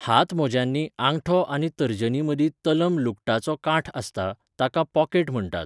हातमोज्यांनी आंगठो आनी तर्जनीमदीं तलम लुगटाचो कांठ आसता, ताका 'पॉकेट' म्हण्टात.